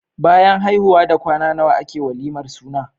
Bayan haihuwa da kwana nawa ake walimar suna?